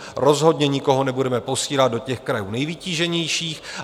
Rozhodně nikoho nebudeme posílat do těch krajů nejvytíženějších.